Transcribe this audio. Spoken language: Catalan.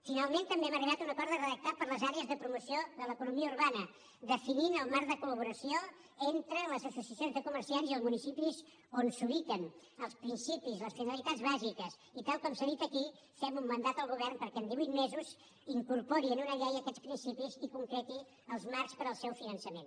finalment també hem arribat a un acord de redactat per a les àrees de promoció de l’economia urbana definint el marc de col·laboració entre les associacions de comerciants i els municipis on s’ubiquen els principis les finalitats bàsiques i tal com s’ha dit aquí fem un mandat al govern perquè en divuit mesos incorpori en una llei aquests principis i concreti els marcs per al seu finançament